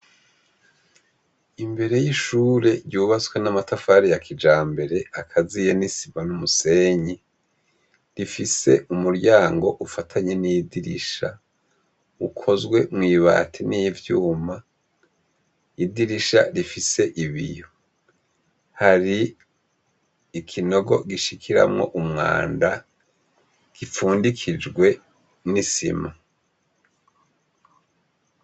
Imbere y’ishure ryubatswe n’amatafari ya kijambere akaziye n’isima n’umusenyi, rifise umuryango ufatanye n’idirisha, ukozwe mw'ibati n'ivyuma, idirisha rifise ibiyo. Hari ikinogo gishikiramwo umwanda gifundikijwe n’isima.